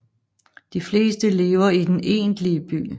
De fleste lever i den egentlige by